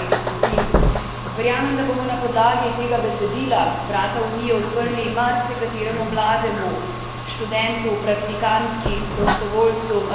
Verjamem, da bomo na podlagi tega besedila vrata Unije odprli marsikateremu mlademu študentu, praktikantki, prostovoljcu, raziskovalki.